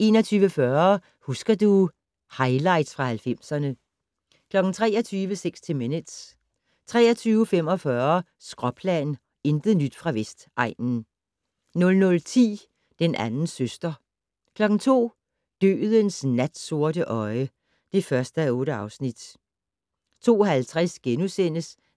21:40: Husker du ... highlights fra 90'erne 23:00: 60 Minutes 23:45: Skråplan - intet nyt fra Vestegnen 00:10: Den anden søster 02:00: Dødens natsorte øje (1:8) 02:50: